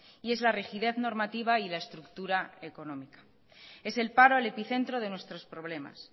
y es la rigidez normativa y la estructura económica es el paro el epicentro de nuestros problemas